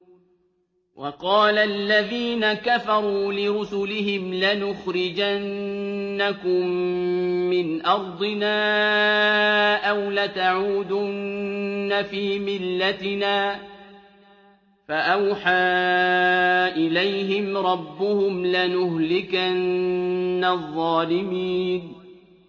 وَقَالَ الَّذِينَ كَفَرُوا لِرُسُلِهِمْ لَنُخْرِجَنَّكُم مِّنْ أَرْضِنَا أَوْ لَتَعُودُنَّ فِي مِلَّتِنَا ۖ فَأَوْحَىٰ إِلَيْهِمْ رَبُّهُمْ لَنُهْلِكَنَّ الظَّالِمِينَ